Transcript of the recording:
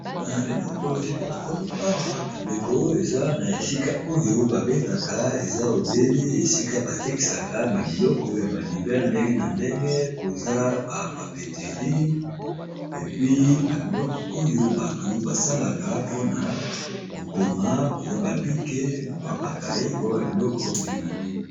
Eloko esika na komi awa bandeko eza na esika oyo ba bengaka eza obele esika ba tekisaka ba biloko ya ba livere ndenge na ndenge koza ba papeterie epi ba biloko oyo bato basalaka mpona kokoma koza ba bic na koya bakaye koa ba biloko ndenge na ndenge.